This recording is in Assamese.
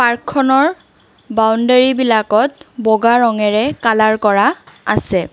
পাৰ্কখনৰ বাউণ্ডেৰীবিলাকত বগা ৰঙেৰে কালাৰ কৰা আছে।